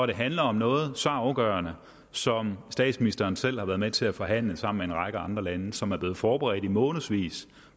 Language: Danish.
det handler om noget så afgørende som statsministeren selv været med til at forhandle sammen med en række andre lande som er blevet forberedt i månedsvis